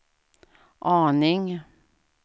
aning